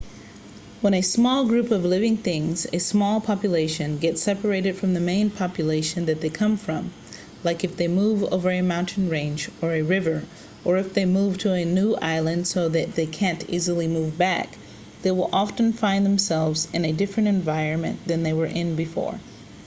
when a small group of living things a small population gets separated from the main population that they came from like if they move over a mountain range or a river or if they move to a new island so that they can't easily move back they will often find themselves in a different environment than they were in before